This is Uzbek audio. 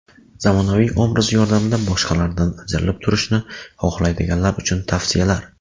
Zamonaviy obraz yordamida boshqalardan ajralib turishni xohlaydiganlar uchun tavsiyalar.